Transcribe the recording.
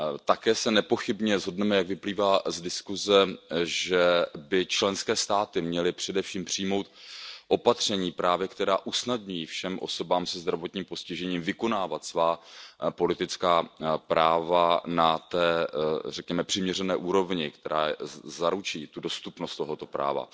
Také se nepochybně shodneme, jak vyplývá z diskuze, že by členské státy měly především přijmout opatření, která usnadní všem osobám se zdravotním postižením vykonávat svá politická práva na té, řekněme, přiměřené úrovni, která zaručí tu dostupnost tohoto práva.